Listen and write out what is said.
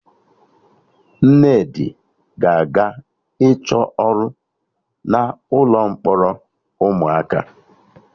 Nnedi ga-aga ịchọ ọrụ na ụlọ mkpọrọ ụmụaka